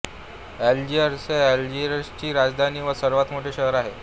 Algiers हे अल्जीरियाची राजधानी व सर्वात मोठे शहर आहे